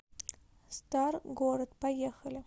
старгород поехали